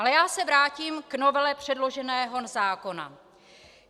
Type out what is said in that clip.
Ale já se vrátím k novele předloženého zákona.